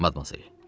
Madmazel.